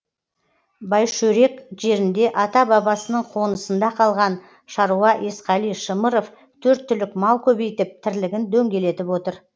байшөрек жерінде ата бабасының қонысында қалған шаруа есқали шымыров төрт түлік мал көбейтіп тірлігін дөңгелетіп отыр